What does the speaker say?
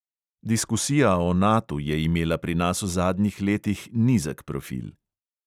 Diskusija o natu je imela pri nas v zadnjih letih nizek profil.